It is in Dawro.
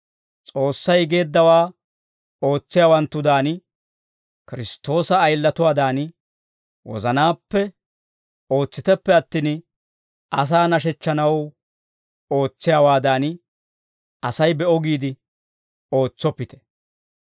S'oossay geeddawaa ootsiyaawanttudan, Kiristtoosa ayilatuwaadan, wozanaappe ootsiteppe attin, asaa nashechchanaw ootsiyaawaadan, Asay be'o giide ootsoppite.